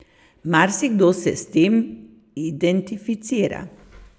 Marsikdo se s tem identificira.